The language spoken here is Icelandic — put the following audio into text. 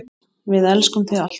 Við elskum þig alltaf.